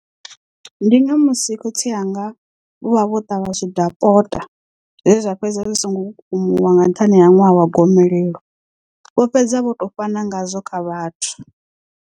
Ndi nga musi khotsi anga vho vha vho ṱavha zwidakota zwezwa fhedza zwi songo kukumuwa nga nṱhani ha ṅwaha wa gomelelo vho fhedza vho to fhana ngazwo kha vhathu.